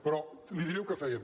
però li diré el que fèiem